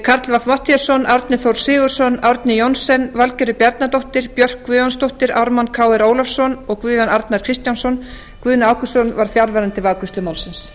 karl fimmti matthíasson árni þór sigurðsson árni johnsen valgerður bjarnadóttir björk guðjónsdóttir ármann krónu ólafsson og guðjón arnar kristjánsson guðni ágústsson var fjarverandi við afgreiðslu málsins